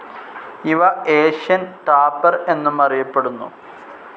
ഇവ Asian tapir എന്നും അറിയപ്പെടുന്നു.